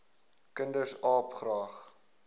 kinders aap graag